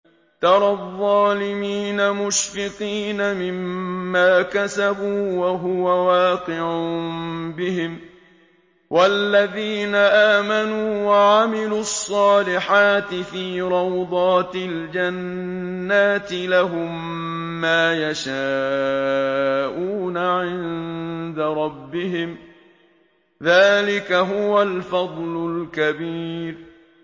تَرَى الظَّالِمِينَ مُشْفِقِينَ مِمَّا كَسَبُوا وَهُوَ وَاقِعٌ بِهِمْ ۗ وَالَّذِينَ آمَنُوا وَعَمِلُوا الصَّالِحَاتِ فِي رَوْضَاتِ الْجَنَّاتِ ۖ لَهُم مَّا يَشَاءُونَ عِندَ رَبِّهِمْ ۚ ذَٰلِكَ هُوَ الْفَضْلُ الْكَبِيرُ